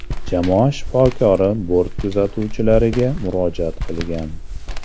Jamoa shifokori bort kuzatuvchilariga murojaat qilgan.